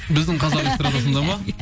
біздің қазақ эстрадасында ма иә